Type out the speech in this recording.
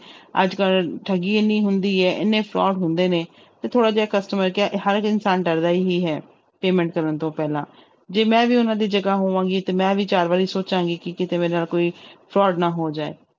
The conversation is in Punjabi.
ਅੱਜ ਕੱਲ੍ਹ ਠੱਗੀ ਇੰਨੀ ਹੁੰਦੀ ਹੈ ਇੰਨੇ fraud ਹੁੰਦੇ ਨੇ ਤੇ ਥੋੜ੍ਹਾ ਜਿਹਾ customer ਕਿ ਹਰ ਇੱਕ ਇਨਸਾਨ ਡਰਦਾ ਹੀ ਹੈ payment ਕਰਨ ਤੋਂ ਪਹਿਲਾਂ, ਜੇ ਮੈਂ ਵੀ ਉਹਨਾਂ ਦੀ ਜਗ੍ਹਾ ਹੋਵਾਂਗੀ ਤੇ ਮੈਂ ਵੀ ਚਾਰ ਵਾਰੀ ਸੋਚਾਂਗੀ ਕਿ ਕਿਤੇ ਮੇਰਾ ਕੋਈ fraud ਨਾ ਹੋ ਜਾਏ।